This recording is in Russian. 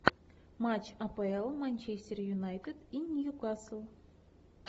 матч апл манчестер юнайтед и ньюкасл